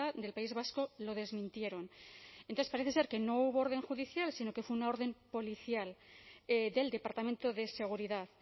del país vasco lo desmintieron entonces parece ser que no hubo orden judicial sino que fue una orden policial del departamento de seguridad